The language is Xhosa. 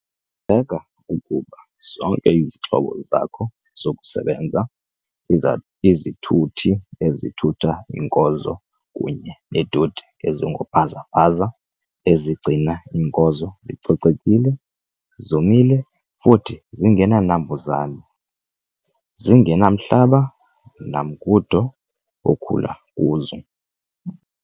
seka ukuba zonke izixhobo zakho zokusebenza, izithuthi ezithutha iinkozo kunye neetoti ezingoobhaza-bhaza ezigcina iinkozo zicocekile, zomile futhi zingenanambuzane, zingenamhlaba namngundo okhula kuzo.